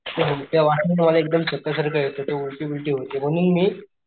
हो त्या वासाने मला एकदम चक्कर सारखं येत ते उलटी बिलटी होते म्हणून मी,